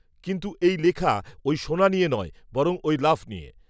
কিন্ত্ত, এই লেখা, ওই সোনা নিয়ে নয়, বরং, ওই লাফ, নিয়ে